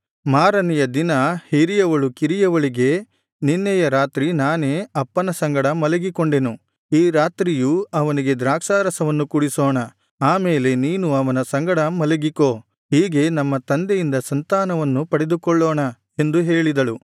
ಮಾರನೆಯ ದಿನ ಹಿರಿಯವಳು ಕಿರಿಯವಳಿಗೆ ನಿನ್ನೆಯ ರಾತ್ರಿ ನಾನೇ ಅಪ್ಪನ ಸಂಗಡ ಮಲಗಿಕೊಂಡೆನು ಈ ರಾತ್ರಿಯೂ ಅವನಿಗೆ ದ್ರಾಕ್ಷಾರಸವನ್ನು ಕುಡಿಸೋಣ ಆ ಮೇಲೆ ನೀನು ಅವನ ಸಂಗಡ ಮಲಗಿಕೋ ಹೀಗೆ ನಮ್ಮ ತಂದೆಯಿಂದ ಸಂತಾನವನ್ನು ಪಡೆದುಕೊಳ್ಳೋಣ ಎಂದು ಹೇಳಿದಳು